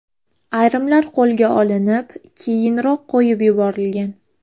Ayrimlar qo‘lga olinib, keyinroq qo‘yib yuborilgan.